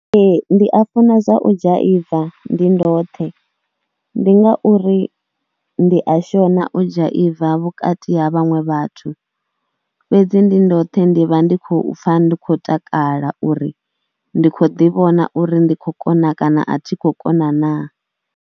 Ee ndi a funa dza u dzhaiva ndi ndoṱhe, ndi ngauri ndi a shona u dzhaiva vhukati ha vhaṅwe vhathu. Fhedzi ndoṱhe ndi vha ndi khou pfha ndi khou takala uri ndi khou ḓivhona uri ndi khou kona kana a thi khou kona naa.